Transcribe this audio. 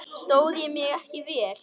Stóð ég mig ekki vel?